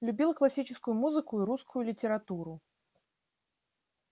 любила классическую музыку и русскую литературу